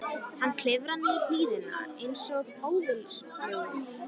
Hann klifraði niður hlíðina einsog óviljugur.